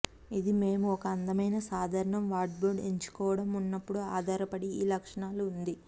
ఇది మేము ఒక అందమైన సాధారణం వార్డ్రోబ్ ఎంచుకోవడం ఉన్నప్పుడు ఆధారపడి ఈ లక్షణాలు ఉంది